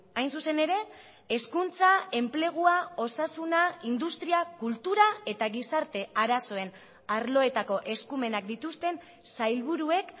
hain zuzen ere hezkuntza enplegua osasuna industria kultura eta gizarte arazoen arloetako eskumenak dituzten sailburuek